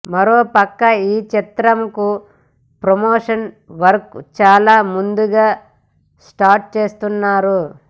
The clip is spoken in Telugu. మరో ప్రక్క ఈ చిత్రం కు ప్రమోషన్ వర్క్ చాలా ముందుగా స్టార్ట్ చేస్తున్నారు